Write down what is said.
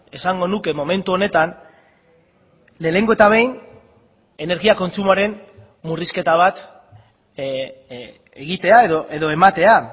esango nuke momentu honetan lehenengo eta behin energia kontsumoaren murrizketa bat egitea edo ematea